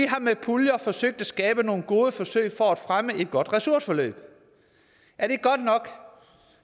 har med puljer forsøgt at skabe nogle gode forsøg for at fremme et godt ressourceforløb er det godt nok